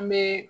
An bɛ